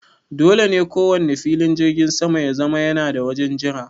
Dole ne kowanne filin jirgin sama ya zama yana da wajen jira.